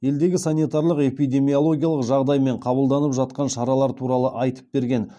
елдегі санитарлық эпидемиологиялық жағдай мен қабылданып жатқан шаралар туралы айтып берген